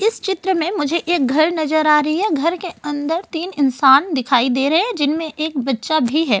इस चित्र में मुझे एक घर नजर आ रही है घर के अंदर तीन इंसान दिखाई दे रहे है जिनमें एक बच्चा भी है।